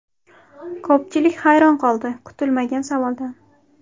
Ko‘pchilik hayron qoldi kutilmagan savoldan.